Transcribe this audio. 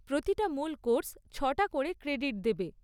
প্রতিটা মূল কোর্স ছ'টা করে ক্রেডিট দেবে।